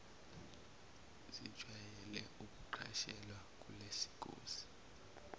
zijwayele ukuqashelwa kulezingosi